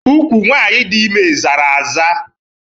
Ụkwụ nwanyị dị ime zara aza